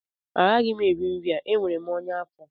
Agaghị m eri nri a enwere m ọnya afọ